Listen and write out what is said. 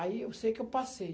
Aí eu sei que eu passei.